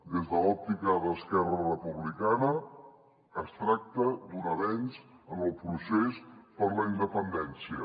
des de l’òptica d’esquerra republicana es tracta d’un avenç en el procés per la independència